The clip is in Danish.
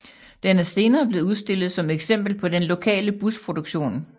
Den er senere blevet udstillet som eksempel på den lokale busproduktion